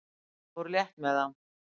Fór létt með það.